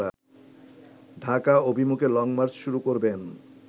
ডাকা অভিমুখে লংমার্চ শুরু করবেন